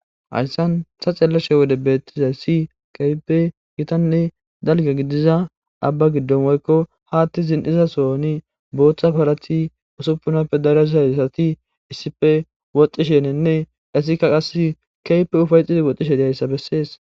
hayssan ta xeellashe wode beettizay si keype gitanne dalge gidiza abba giddon woykko haatti zin7iza soni booththa parati usuppunappe darazayssati issife woxxishenenne issikka qa keype ufayxidi woxxishe deyayssa bessees